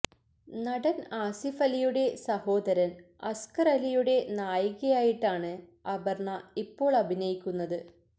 നടന് ആസിഫ് അലിയുടെ സഹോദരന് അസ്കര് അലിയുടെ നായികയായിട്ടാണ് അപര്ണ ഇപ്പോള് അഭിനയിക്കുന്നത്